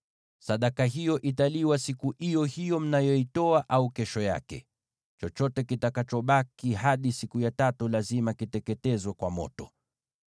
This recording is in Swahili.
Sadaka hiyo italiwa siku iyo hiyo mnayoitoa, au kesho yake; chochote kitakachobaki hadi siku ya tatu lazima kiteketezwe kwa moto.